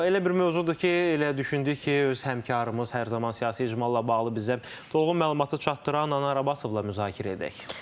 Elə bir mövzudur ki, elə düşündük ki, öz həmkarımız hər zaman siyasi icmalla bağlı bizə dolğun məlumatı çatdıran Anar Abbasovla müzakirə edək.